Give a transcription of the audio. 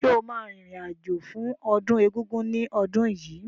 Sọ ma rìn rìn àjò fún ọdún Egúngún ní ọdún yìí?